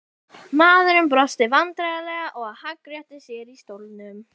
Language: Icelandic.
Maðurinn brosti vandræðalega og hagræddi sér í stólnum.